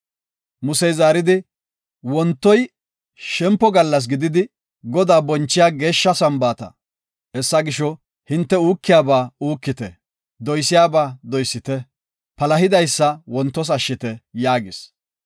Musey zaaridi, “Wontoy shempo gallas gididi Godaa bonchiya geeshsha Sambaata. Hessa gisho, hinte uukiyaba uukite; doysiyaba doysite. Palahidaysa wontos wothite” yaagis.